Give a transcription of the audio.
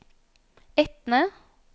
Etne